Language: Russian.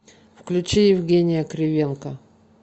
включи евгения кривенко